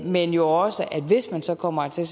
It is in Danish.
men jo også at hvis man så kommer hertil